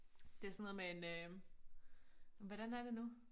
Det sådan noget med en øh hvordan er det nu